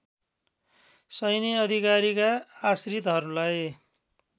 सैन्य अधिकारीका आश्रितहरूलाई